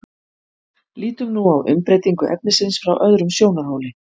lítum nú á umbreytingu efnisins frá öðrum sjónarhóli